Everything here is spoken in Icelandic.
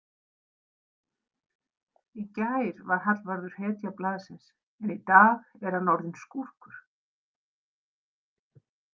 Í gær var Hallvarður hetja blaðsins en í dag er hann orðinn skúrkur.